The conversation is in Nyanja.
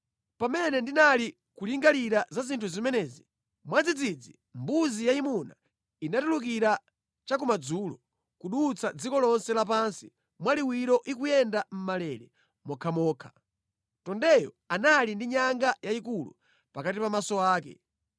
Pamene ndinali kulingalira za zinthu zimenezi, mwadzidzidzi mbuzi yayimuna inatulukira cha kumadzulo, kudutsa dziko lonse lapansi mwaliwiro ikuyenda mʼmalele mokhamokha. Mbuzi yayimunayo inali ndi nyanga yayikulu pakati pa maso ake.